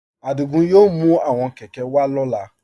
Adígún yóò mú àwọn kẹ̀kẹ̀ wà lọla.